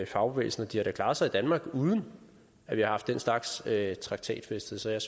fagbevægelsen og de har da klaret sig i danmark uden at vi har haft den slags slags traktatfæstelser jeg